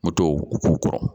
Moto k'u kɔrɔ